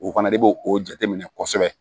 O fana de b'o o jate minɛ kosɛbɛ